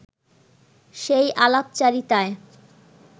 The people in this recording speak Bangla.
সেই আলাপচারিতায়